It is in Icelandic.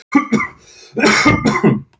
Í hverjum þeirra er þó aðeins ein skífa.